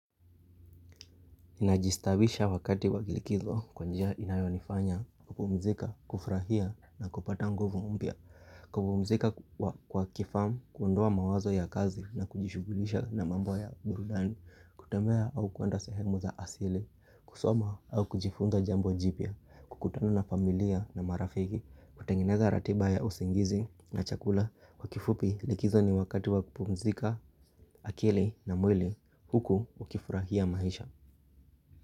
Ninajistaabisha wakati wa likizo kwa njia inayonifanya kupumzika, kufurahia na kupata nguvu mpya kupumzika kwa kifani, kuondoa mawazo ya kazi na kujishugulisha na mambo ya burudani kutembea au kuenda sehemu za asili. Kusoma au kujifunza jambo jipya kukutana na familia na marafiki, kutengeneza ratiba ya usingizi na chakula Kwa kifupi likizo ni wakati wakupumzika, akili na mwili huku ukifurahia maisha.